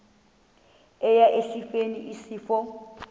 eya esifeni isifo